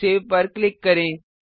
save पर click करें